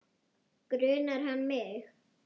Grunar hann mig?